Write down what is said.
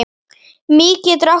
Mý getur átt við